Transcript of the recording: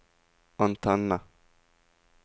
antenne